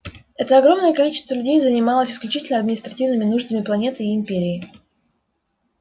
это огромное количество людей занималось исключительно административными нуждами планеты и империи